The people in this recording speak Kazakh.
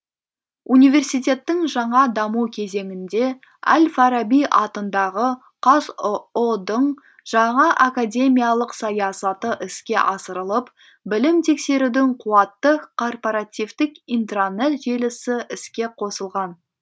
университеттің жаңа даму кезеңінде әл фараби атындағы қазұу дың жаңа академиялық саясаты іске асырылып білім тексерудің қуатты корпоративтік интранет желісі іске қосылған